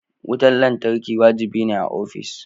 Wutar lantarki wajibi ne a ofis.